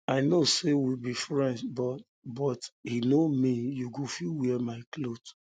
i know say we be friends but but e no mean you go fit wear my cloth